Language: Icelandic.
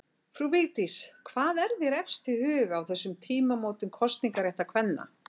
Frú Vigdís, hvað er þér efst í huga á þessum tímamótum kosningaréttar kvenna?